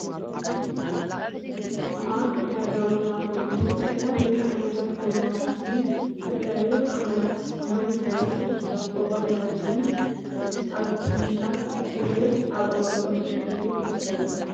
ኣብ ዒዳጋ ቦታ ኮይኑ ዝተፈላለዩ ዓይነታት ጎማታትን ዝተፈላለዩ ዓቀናት ማይ ዝሕዙን ኮቦርታታትን ኣብ ምሸት ግዜ ኣብ እዋን ቁሪ እዩ ትክደኖ።